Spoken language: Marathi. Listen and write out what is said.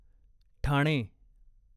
ठाणे